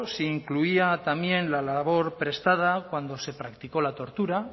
si incluía también la labor prestada cuando se practicó la tortura